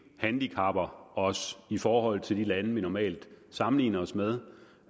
handicapper os i forhold til de lande vi normalt sammenligner os med